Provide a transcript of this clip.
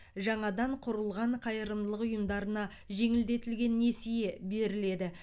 жаңадан құрылған қайырымдылық ұйымдарына жеңілдетілген несие беріледі